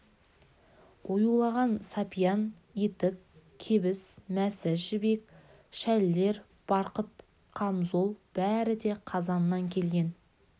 оюлаған сапиян етік кебіс-мәсі жібек шәлілер барқыт қамзол бәрі де қазаннан келген